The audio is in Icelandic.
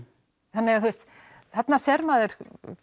þannig að þú veist þarna sér maður